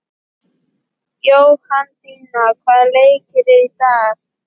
Jóhanndína, hvaða leikir eru í kvöld?